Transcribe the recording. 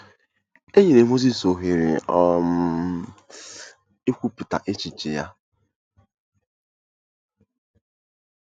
E nyere Mozis ohere um ikwupụta echiche ya.